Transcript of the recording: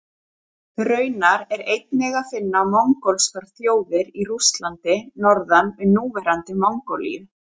Raunar er einnig að finna mongólskar þjóðir í Rússlandi norðan við núverandi Mongólíu.